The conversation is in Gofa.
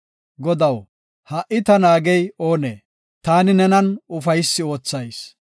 Godaw, ha77i ta naagey oonee? Taani nenan ufaysi oothayis.